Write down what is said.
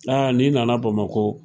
Aa n'i nana bamako.